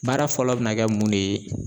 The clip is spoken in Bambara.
Baara fɔlɔ be na kɛ mun de ye